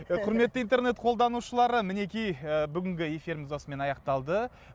құрметті интернет қолданушылары мінекей ы бүгінгі эфиріміз осымен аяқталды